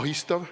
ahistav.